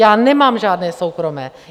Já nemám žádné soukromé!